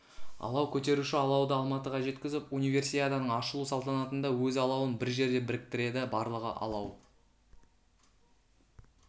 алау көтеруші алауды алматыға жеткізіп универсиаданың ашылу салтанатында өз алауын бір жерде біріктіреді барлығы алау